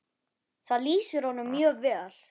Það lýsir honum mjög vel.